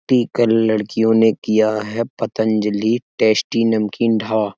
pickle लड़कियों ने किया है पतंजलि टेस्टी नमकीन ढा --